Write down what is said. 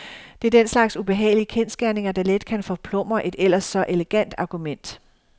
Det er den slags ubehagelige kendsgerninger, der let kan forplumre et ellers så elegant argument.